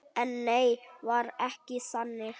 En nei, var ekki þannig.